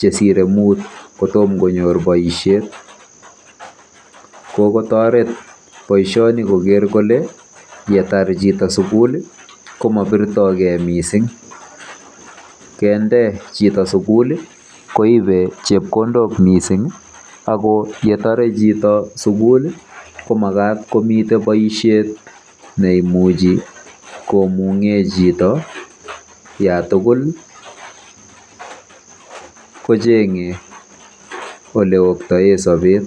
chesire mut kotom konyor boisiet. Kokotoret boisioni koker kole yetar chito sukul ko mabirtogei mising. Kende chito sukul koibe chepkondok mising ako yetare chito sukul ko makat komi boisiet neimuchi komung'e chito yatukul kocheng'e oleoktoe sobet